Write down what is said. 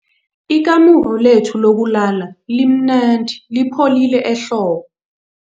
Ikamuru lethu lokulala limnandi lipholile ehlobo.